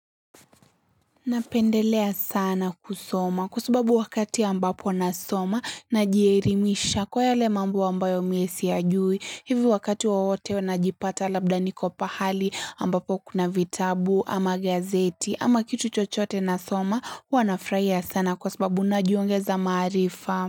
Napendelea sana kusoma kwa sababu wakati ambapo nasoma najierimisha kwa yale mambo ambayo miesi yajui hivo wakati wowote unajipata labda nikopahali ambapo kuna vitabu ama gazeti ama kitu chochote nasoma Hua nafraia sana kwa sababu na jiongeza maarifa.